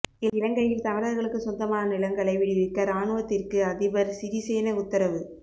இலங்கையில் தமிழர்களுக்கு சொந்தமான நிலங்களை விடுவிக்க ராணுவத்திற்கு அதிபர் சிறிசேன உத்தரவு